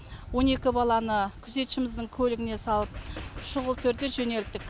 он екі баланы күзетшіміздің көлігіне салып шұғыл түрде жөнелттік